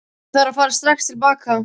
Ég þarf að fara strax til baka.